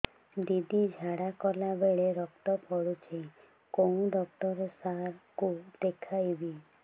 ଦିଦି ଝାଡ଼ା କଲା ବେଳେ ରକ୍ତ ପଡୁଛି କଉଁ ଡକ୍ଟର ସାର କୁ ଦଖାଇବି